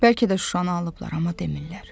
Bəlkə də Şuşanı alıblar, amma demirlər.